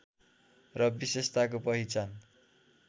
र विशेषताको पहिचान